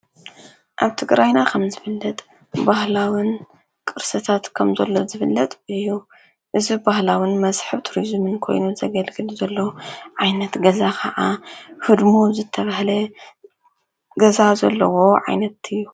ኣብ ቲ ግራይና ኸም ዝፍለጥ ባህላዉን ቅርሰታት ከምዘሎ ዝፍለጥ እዩ እዚ ባህላውን መስሕብ ቱሪዙምን ኮይኑ ዘገልግል ዘለዉ ዓይነት ገዛ ኸዓ ህድሙ ኣብ ዘተብህለ ገዛ ዘለዎ ዓይነት እዩ።